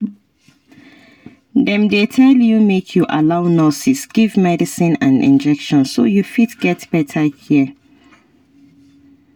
dem dey tell you make you allow nurses give medicine and injection so you fit get better care